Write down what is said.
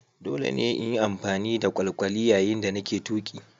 Dole ne in yi amfani da kwalkwali yayin da nake tuki.